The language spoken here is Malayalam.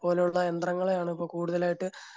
അതുപോലെയുള്ള യന്ത്രങ്ങളെയാണ് ഇപ്പോ കൂടുതലായിട്ട്